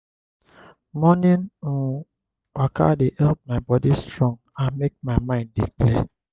morning um waka dey help my body strong and make my mind dey clear.